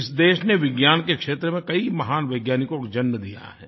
इस देश ने विज्ञान के क्षेत्र में कई महान वैज्ञानिकों को जन्म दिया है